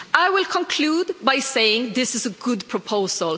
I will conclude by saying this is a good proposal.